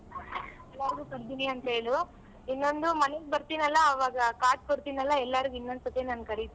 ಎಲ್ಲಾರ್ಗು ಕರ್ದೀನಿ ಅಂತ್ ಹೇಳು. ಇನ್ನೊಂದು ಮನೆಗ್ ಬರ್ತಿನಲ್ಲ ಆವಾಗ card ಕೊಡ್ತಿನಲ್ಲ ಎಲ್ಲಾರ್ಗು ಇನ್ನೊಂದ್ ಸತಿ ನಾನ್ ಕರಿತಿನಿ.